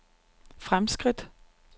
fremskridt